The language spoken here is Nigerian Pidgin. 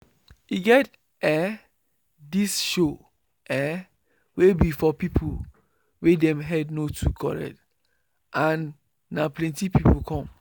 e get ehh this show ehh wey be for people wey dem head no too correct and na plenty people come